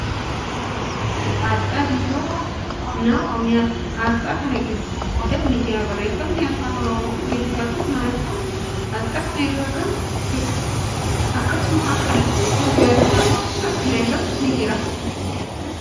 Kuni aasxaa biiroo qonnaa Oromiyyaati. Aasxaa kana gidduu odaan ni jira. Barreeffamni afaan Oromoo, Ingiliffaa fi Amaariffaa aasxaa kana irra kan jiruudha. Akkasumas, haallun garagaraa aasxaa kana irra ni jira.